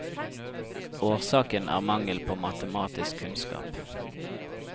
Årsaken er mangel på matematisk kunnskap.